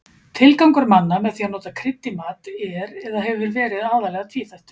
Tilgangur manna með því að nota krydd í mat er eða hefur verið aðallega tvíþættur.